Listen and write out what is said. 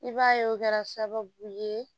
I b'a ye o kɛra sababu ye